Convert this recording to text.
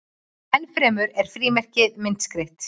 enn fremur eru frímerki myndskreytt